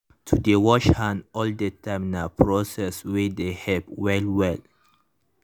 to dey wash hand all the time nah proceed wey dey help well well.